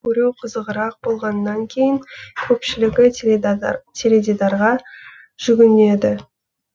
көру қызығырақ болғанан кейін көпшілігі теледидарға жүгінеді